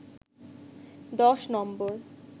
১০ নম্বর